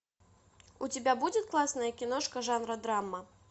у тебя будет классная киношка жанра драма